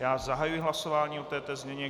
Já zahajuji hlasování o této změně.